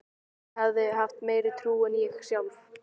Hún hafði haft meiri trú en ég sjálf.